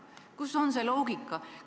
Kus on siin loogika?